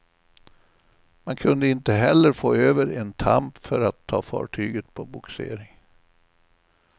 Man kunde inte heller få över en tamp för att ta fartyget på bogsering.